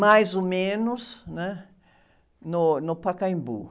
mais ou menos, né? No, no Pacaembu.